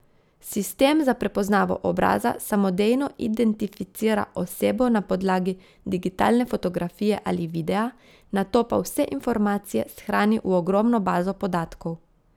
Sistem za prepoznavo obraza samodejno identificira osebo na podlagi digitalne fotografije ali videa, nato pa vse informacije shrani v ogromno bazo podatkov.